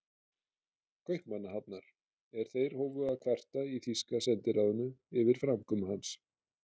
Kaupmannahafnar, er þeir hófu að kvarta í þýska sendiráðinu yfir framkomu hans.